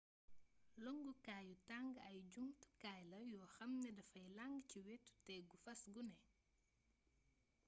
longkukaayu tang ay jumtukaay la yoo xam ne dafay lang ci wetu tegu fas gune